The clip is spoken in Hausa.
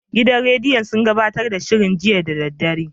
Gidan rediyon sun gabatar da shirin jiya da daddare.